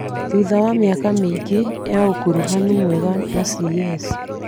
thutha wa mĩaka mĩingĩ ya ũkuruhanu mwega na CS,